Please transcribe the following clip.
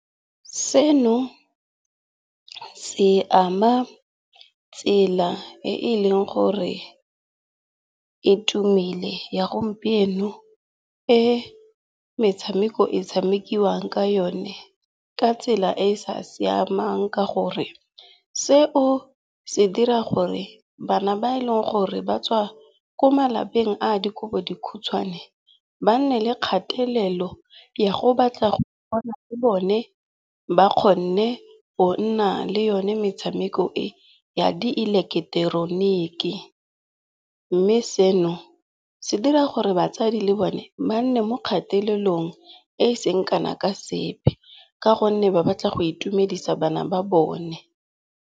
Seno, se ama tsela e e leng gore e itumele ya gompieno e metshameko e tshamekiwang ka yone ka tsela e e sa siamang ka gore seo se dira gore bana ba e leng gore ba tswa ko malapeng a dikobodikhutshwane ba nne le kgatelelo ya go batla go bona le bone ba kgonne go nna le yone metshameko e ya di eleketeroniki. Mme seno se dira gore batsadi le bone ba nne mo kgatelelong e seng kana ka sepe ka gonne ba batla go itumedisa bana ba bone.